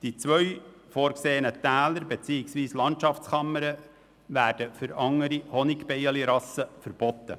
Die zwei vorgesehenen Täler beziehungsweise Landschaftskammern werden für andere Honigbienenrassen verboten.